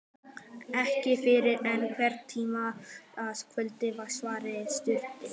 Ekki fyrr en einhvern tíma annað kvöld, svaraði systirin.